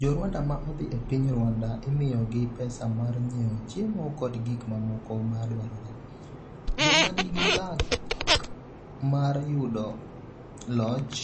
Jo Rwanda ma odhi e piny Rwanda imiyogi pesa mar nyiewo chiemo kod gik mamoko ma dwarore, joma nigi luck mar yudo loch